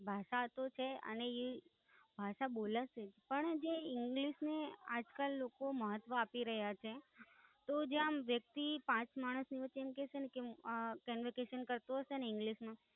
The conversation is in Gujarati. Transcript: ભાષા તો છે, અને ઈ ભાષા બોલે છે. પણ જે English ને આજકાલ લોકો મહત્વ આપી રહ્યા છે, તો જે આમ વ્યક્તિ પાંચ માણસ ની વચ્ચે એમ કેશેને,